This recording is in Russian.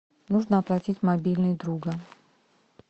нужно оплатить мобильный друга